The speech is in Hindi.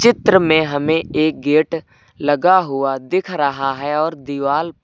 चित्र में हमें एक गेट लगा हुआ दिख रहा है और दीवाल प--